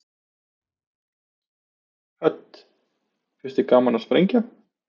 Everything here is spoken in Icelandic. Hödd: Finnst þér gaman að sprengja?